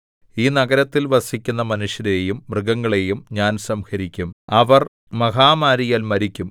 ഈ നഗരത്തിൽ വസിക്കുന്ന മനുഷ്യരെയും മൃഗങ്ങളെയും ഞാൻ സംഹരിക്കും അവർ മഹാമാരിയാൽ മരിക്കും